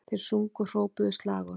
Þeir sungu og hrópuðu slagorð